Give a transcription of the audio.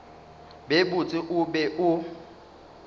be botse o be o